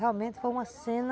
Realmente foi uma cena